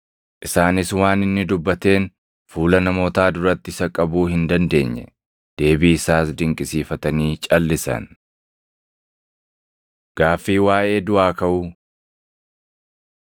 Isaanis waan inni dubbateen fuula namootaa duratti isa qabuu hin dandeenye. Deebii isaas dinqisiifatanii calʼisan. Gaaffii Waaʼee Duʼaa Kaʼuu 20:27‑40 kwf – Mat 22:23‑33; Mar 12:18‑27